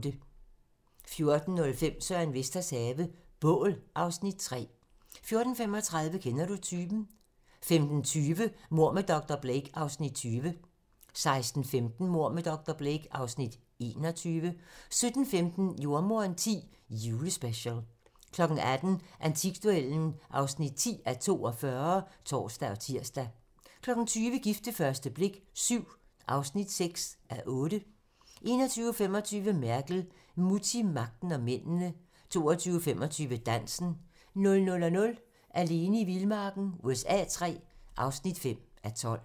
14:05: Søren Vesters have - bål (Afs. 3) 14:35: Kender du typen? 15:20: Mord med dr. Blake (Afs. 20) 16:15: Mord med dr. Blake (Afs. 21) 17:15: Jordemoderen X: Julespecial 18:00: Antikduellen (10:42)(tor og tir) 20:00: Gift ved første blik VII (6:8) 21:25: Merkel - Mutti, magten og mændene 22:25: Dansen 00:00: Alene i vildmarken USA III (5:12)